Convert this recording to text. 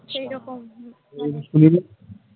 সেই রকম